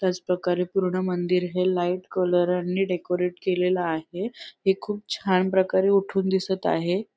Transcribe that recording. त्याच प्रकारे पूर्ण मंदिर हे लाईट कलरां नी डेकोरेट केलेलं आहे हे खूप छान प्रकारे उठून दिसत आहे.